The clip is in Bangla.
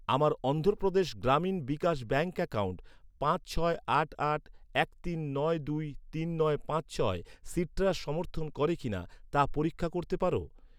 আমার অন্ধ্রপ্রদেশ গ্রামীণ বিকাশ ব্যাঙ্ক অ্যাকাউন্ট পাঁচ ছয় আট আট এক তিন নয় দুই তিন নয় পাঁচ ছয় সিট্রাস সমর্থন করে কিনা তা পরীক্ষা করতে পার?